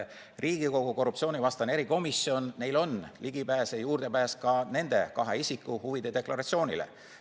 Riigikogu korruptsioonivastasel erikomisjonil on ligipääs ka nende kahe isiku huvide deklaratsioonile.